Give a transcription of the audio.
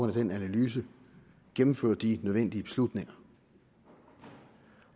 af den analyse gennemfører de nødvendige beslutninger